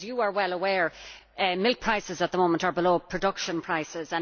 As you are well aware, milk prices at the moment are below production prices.